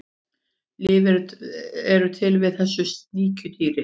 lyf eru til við þessu sníkjudýri